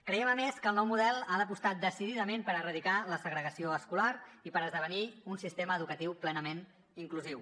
creiem a més que el nou model ha d’apostar decididament per erradicar la segregació escolar i per esdevenir un sistema educatiu plenament inclusiu